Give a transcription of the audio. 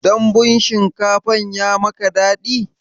Dambun shinkafan ya maka daɗi?